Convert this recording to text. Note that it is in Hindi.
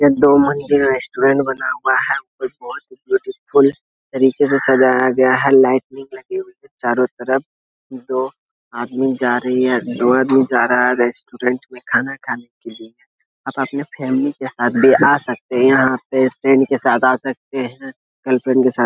एक दो मंजिल रेस्टोरेंट बना हुआ है। बोहोत ही ब्यूटीफुल तरीके से सजाया गया है। लाइटनिंग लगी हुई हैं चारों तरफ। दो आदमी जा रहे हैं। दो आदमी जा रहा है रेस्टुरेंट में खाना खाने के लिए। आप अपने फैमिली के साथ भी आ सकते है यहाँ पे फ्रेंड के साथ आ सकते है। गर्लफ्रेंड के साथ --